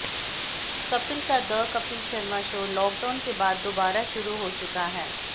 कपिल का the Kapil Sharma show lockdown के बाद दोबारा शुरू हो चुका है